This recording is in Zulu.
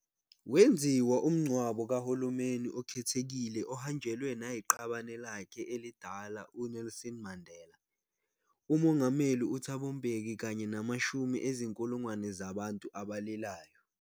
Wenziwa umngcwabo kahulumeni okhethekile ohanjelwe nayiqabane lakhe elidala uNelson Mandela, umongameli uThabo Mbeki kanye namashumi ezinkulungwane zabantu abalilayo.